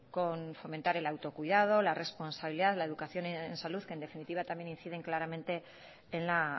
con fomentar el autocuidado la responsabilidad la educación en salud que en definitiva también inciden claramente en la